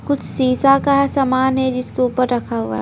शीशा का सामान हैजिसके ऊपर रखा हुआ है।